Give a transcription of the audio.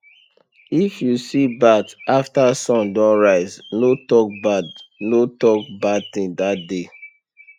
if you see bat after sun don rise no talk bad no talk bad thing that day